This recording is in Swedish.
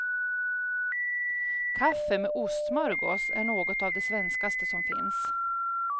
Kaffe med ostsmörgås är något av det svenskaste som finns.